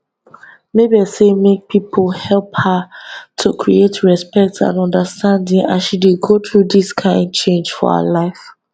mabel say make pipo help her to create respect and understanding as she dey go through dis kain change for her life